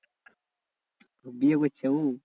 তো বিয়ে করছে উ?